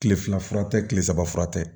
Kile fila fura tɛ tile saba fura tɛ